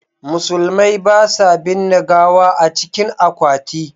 Musulmai ba sa binne gawa a cikin akwati.